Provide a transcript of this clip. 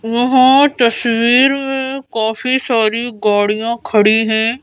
यहाँ तस्वीर में काफी सारी गाड़ियां खड़ी हैं।